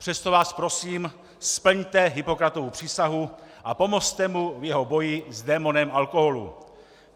Přesto vás prosím, splňte Hippokratovu přísahu a pomozte mu v jeho boji s démonem alkoholu.